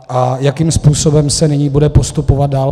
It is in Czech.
A jakým způsobem se nyní bude postupovat dál?